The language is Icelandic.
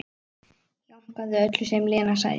Jánkaði öllu sem Lena sagði.